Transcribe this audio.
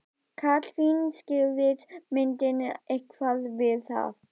Katrín, skýrðist myndin eitthvað við það?